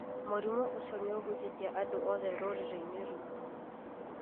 Mũrimũ ũcio nĩũhutĩtie andũ othe rũrĩrĩ-inĩ rwitũ